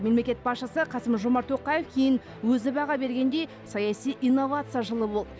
мемлекет басшысы қасым жомарт тоқаев кейін өзі баға бергендей саяси инновация жылы болды